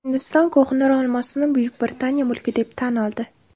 Hindiston Ko‘hinur olmosini Buyuk Britaniya mulki deb tan oldi.